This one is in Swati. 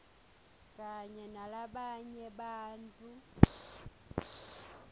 kanye nalabanye bantfu